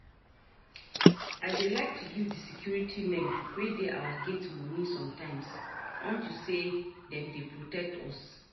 I dey like to give the security men wey dey our gate money sometimes unto say dem dey protect us